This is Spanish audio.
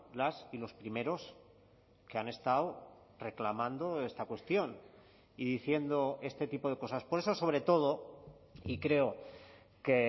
las y los primeros que han estado reclamando esta cuestión y diciendo este tipo de cosas por eso sobre todo y creo que